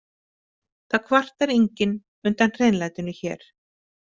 Það kvartar enginn undan hreinlætinu hér.